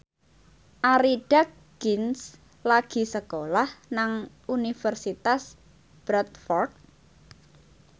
Arie Daginks lagi sekolah nang Universitas Bradford